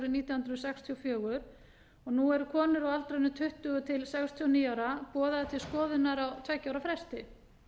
nítján hundruð sextíu og fjögur nú eru konur á aldrinum tuttugu til sextíu og níu ára boðaðar til skoðunar á tveggja ára fresti